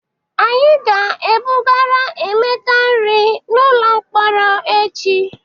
Anyị ga-ebugara Emeka nri n'ụlọ mkpọrọ echi.